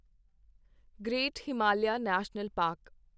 great Himalayan national park